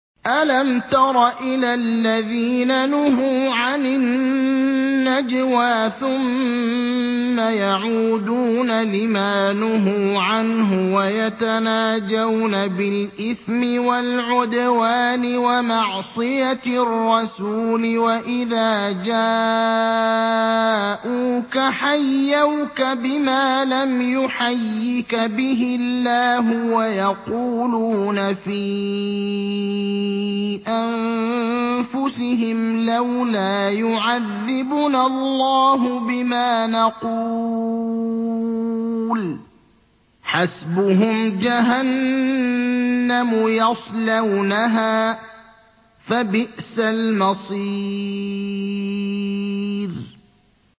أَلَمْ تَرَ إِلَى الَّذِينَ نُهُوا عَنِ النَّجْوَىٰ ثُمَّ يَعُودُونَ لِمَا نُهُوا عَنْهُ وَيَتَنَاجَوْنَ بِالْإِثْمِ وَالْعُدْوَانِ وَمَعْصِيَتِ الرَّسُولِ وَإِذَا جَاءُوكَ حَيَّوْكَ بِمَا لَمْ يُحَيِّكَ بِهِ اللَّهُ وَيَقُولُونَ فِي أَنفُسِهِمْ لَوْلَا يُعَذِّبُنَا اللَّهُ بِمَا نَقُولُ ۚ حَسْبُهُمْ جَهَنَّمُ يَصْلَوْنَهَا ۖ فَبِئْسَ الْمَصِيرُ